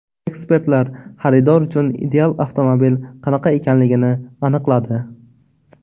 Ekspertlar xaridor uchun ideal avtomobil qanaqa ekanligini aniqladi.